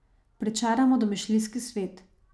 Pričaramo domišljijski svet.